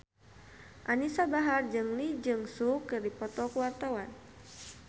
Anisa Bahar jeung Lee Jeong Suk keur dipoto ku wartawan